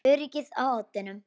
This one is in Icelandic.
Öryggið á oddinn!